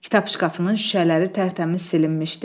Kitab şkafının şüşələri tərtəmiz silinmişdi.